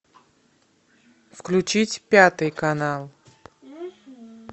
включить пятый канал